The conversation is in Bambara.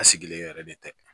A sigilen yɛrɛ de tɛ